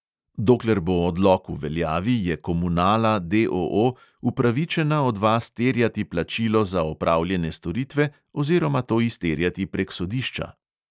Dokler bo odlok v veljavi, je komunala, D O O, upravičena od vas terjati plačilo za opravljene storitve oziroma to izterjati prek sodišča.